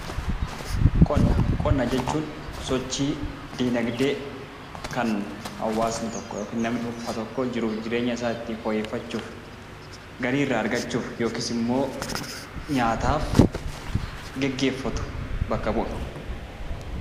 Qonna Qonna jechuun sochii, dinagdee kan hawaasni tokko yookiin namni dhuunfaa tokko jiruuf jireenya isaa ittiin fooyyeffachuuf, galii irraa argachuuf yookiis immoo nyaataaf geggeeffatu bakka bu'a.